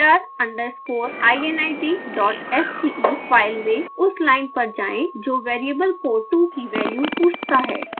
ser underscore init dot sce file में उस line पर जाएँ जो वेरिएबल port2 की वैल्यू पूछता है